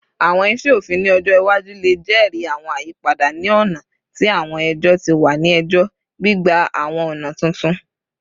Awọn iṣe ofin ni ọjọ iwaju le jẹri awọn ayipada ni ọna ti awọn ẹjọ ti wa ni ẹjọ, gbigba awọn ọna tuntun